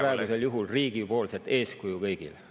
… aga sellega näitaks riik praegusel juhul kõigile eeskuju.